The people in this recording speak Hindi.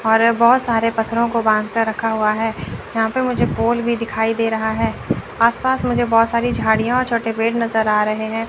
और अ बहुत सारे पत्थरों को बांध कर रखा हुआ है। यहाँ पे मुझे पोल भी दिखाई दे रहा है। आस-पास मुझे बहुत सारी झाड़ियाँ और छोटे पेड़ नज़र आ रहे हैं।